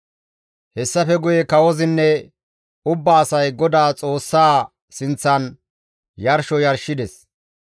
Hessafe guye kawozinne ubba asay Godaa Xoossaa sinththan yarsho yarshides.